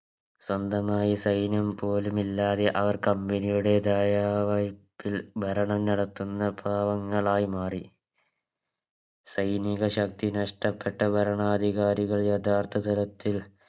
സ്വന്തമായി സൈന്യം പോലും ഇല്ലാതെ അവർ Company യുടെതയ ഭരണം നടത്തുന്ന പാവങ്ങളായി മാറി സൈനിക ശക്തി നഷ്ട്ടപ്പെട്ട ഭരണാധികാരികൾ യഥാർത്ഥ തരത്തിൽ